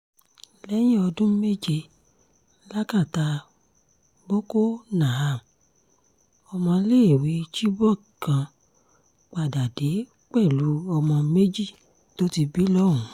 lẹ́yìn ọdún méje lákàtà boko naham ọmọọ́léèwé chibok kan padà dé pẹ̀lú ọmọ méjì tó ti bí lọ́hùn